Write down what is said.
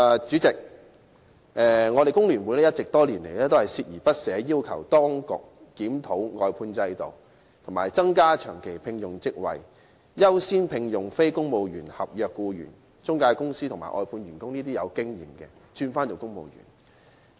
主席，香港工會聯合會多年來一直鍥而不捨，要求當局檢討外判制度，以及增加長期職位，優先聘用非公務員合約僱員，並把具經驗的中介公司和外判員工轉為公務員。